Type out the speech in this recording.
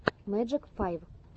мэджик файв